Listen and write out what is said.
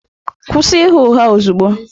Kwụsị ịgha ụgha ozugbo!